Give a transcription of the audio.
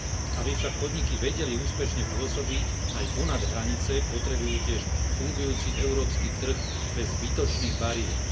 Aby však podniky vedeli úspešne pôsobiť aj ponad hranice, potrebujú tiež fungujúci európsky trh bez zbytočných bariér.